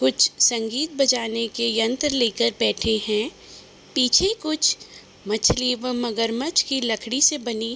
कुछ संगीत बजाने के यंत्र लेकर बैठे है। पीछे कुछ मछली व मगरमच्छ की लकड़ी से बनी --